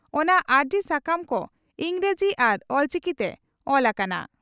ᱚᱱᱟ ᱟᱹᱨᱡᱤ ᱥᱟᱠᱟᱢ ᱠᱚ ᱤᱸᱜᱽᱨᱟᱡᱤ ᱟᱨ ᱚᱞᱪᱤᱠᱤ ᱛᱮ ᱚᱞ ᱟᱠᱟᱱᱟ ᱾